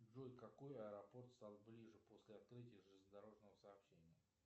джой какой аэропорт стал ближе после открытия железнодорожного сообщения